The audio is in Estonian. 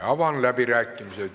Avan läbirääkimised.